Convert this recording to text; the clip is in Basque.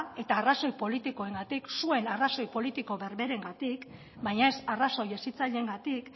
eta arrazoi politikoengatik zuen arrazoi berberengatik baina ez arrazoi hezitzaileengatik